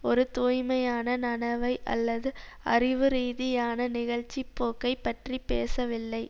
ஒரு தூய்மையான நனவை அல்லது அறிவுரீதியான நிகழ்ச்சிப்போக்கை பற்றி பேசவில்லை